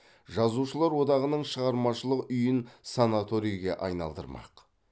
жазушылар одағының шығармашылық үйін санаторийге айналдырмақ